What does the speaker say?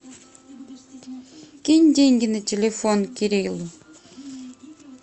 кинь деньги на телефон кириллу